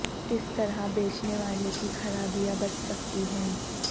کس طرح بیچنے والے کی خرابیاں بچ سکتی ہیں